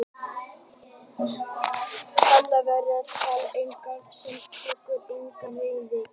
Annars vegar taka allir rafeyri sem greiðslu og hins vegar tekur enginn rafeyri sem greiðslu.